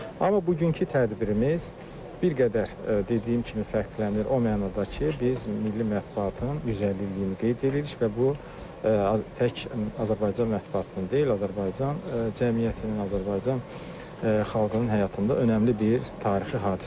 Amma bugünkü tədbirimiz bir qədər dediyim kimi fərqlənir o mənada ki, biz milli mətbuatın 150 illiyini qeyd edirik və bu tək Azərbaycan mətbuatının deyil, Azərbaycan cəmiyyətinin, Azərbaycan xalqının həyatında önəmli bir tarixi hadisədir.